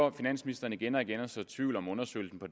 at finansministeren igen og igen prøver at så tvivl om undersøgelsen på